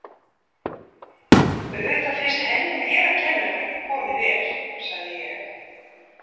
Auðvitað finnst henni mér að kenna hvernig komið er, sagði ég.